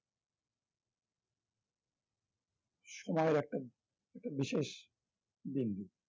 সময়ের একটা একটা বিশেষ দিন